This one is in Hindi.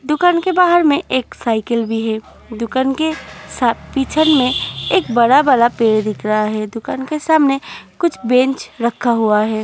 दुकान के बाहर में एक साइकिल भी है। दुकान के सा पीछन में एक बड़ा - बड़ा पेड़ दिख रहा है। दुकान के सामने कुछ बेंच रखा हुआ है।